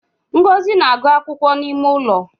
Ngozi na agụ akwụkwọ n’ime ụlọ